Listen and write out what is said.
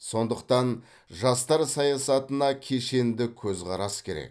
сондықтан жастар саясатына кешенді көзқарас керек